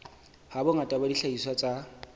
ha bongata ba dihlahiswa tsa